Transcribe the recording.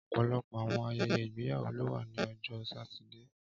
Ọpọlọpọ awọn ayẹyẹ igbeyawo lo wa ni Ọjọ Satidee